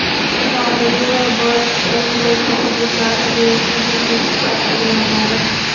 tog‘li va borish qiyin bo‘lgan hududlari bo‘yicha bir tekis taqsimlanadi.